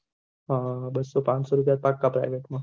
હા બસ્સો પાંચો રુપયા ફટ ત્યાં